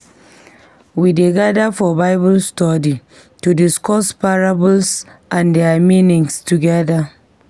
We dey gather for Bible study to discuss parables and their meanings together.